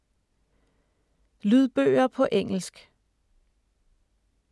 Lydbøger på engelsk